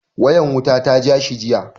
Wayan wuta ta ja shi jiya.